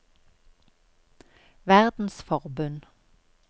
verdensforbund